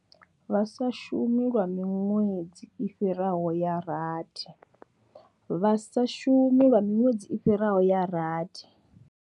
Vha sa shumi lwa miṅwedzi i fhiraho ya rathi. Vha sa shumi lwa miṅwedzi i fhiraho ya rathi.